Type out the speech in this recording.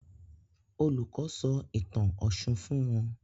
Olùkó sọ ìtàn òshun fún wón